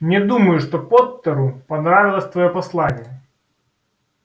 не думаю что поттеру понравилось твоё послание